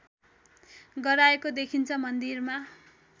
गराएको देखिन्छ मन्दिरमा